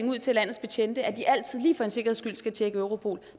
ud til landets betjente at de altid lige for en sikkerheds skyld skal tjekke europol